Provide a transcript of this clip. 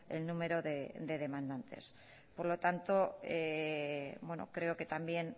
el número de demandantes por lo tanto creo que también